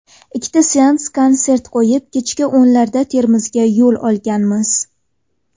Ikkita seans konsert qo‘yib, kechki o‘nlarda Termizga yo‘l olganmiz.